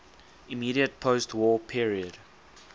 immediate postwar period